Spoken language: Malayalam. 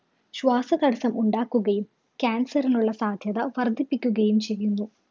ശ്വാസതടസ്സം ഉണ്ടാക്കുകയും cancer ഇനുള്ള സാധ്യത വര്‍ദ്ധിപ്പിക്കുകയും ചെയ്യുന്നു.